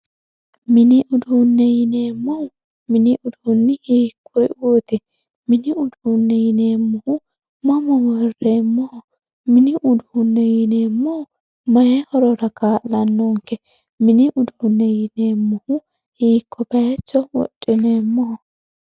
mini uduune yineemohu mini uduunni hiikuriuuti mini uduune yineemohu mama worreemoho mini uduune yineemohu mayii horora kaa'lanonke mini uduune yineemohu hiiko bayiicho woxineemoho.